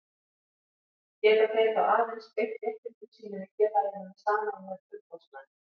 Geta þeir þá aðeins beitt réttindum sínum í félaginu með sameiginlegum umboðsmanni.